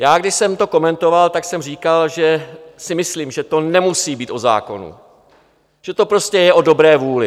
Já když jsem to komentoval, tak jsem říkal, že si myslím, že to nemusí být o zákonu, že to prostě je o dobré vůli.